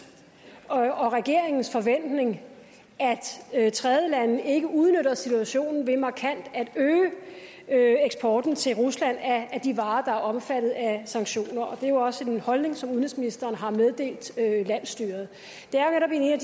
og regeringens forventning at tredjelande ikke udnytter situationen ved markant at øge eksporten til rusland af de varer der er omfattet af sanktioner det er jo også en holdning som udenrigsministeren har meddelt landsstyret det